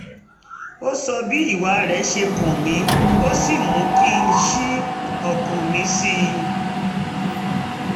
ó sọ bí ìwà rẹ̀ ṣe kàn mí ó sì mú kí n ṣí ọkàn mi sí i